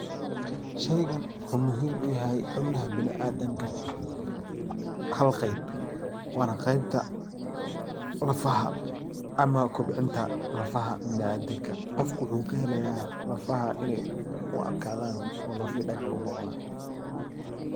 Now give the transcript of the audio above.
Shaygan waxuu muhiim u yahay xubnaha biniadamka hal qayb waana qaybta lafaha ama kobcinta lafaha ibnidamka qofka waxuu kahelaya lafaha inay u adkaadan oo lafahii dagax u noqdan.